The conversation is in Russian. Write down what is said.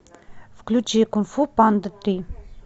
включи кунг фу панда три